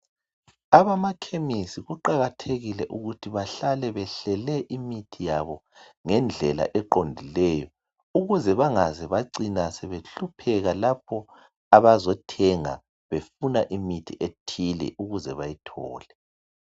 Abamakhemisi kuqakathekile ukuthi behlale behlele imithi yabo ngendlela eqondileyo ukuze bangaze bacina sebehlupheka lapho abazothenga befuna imithi ethile ukuze bayithole.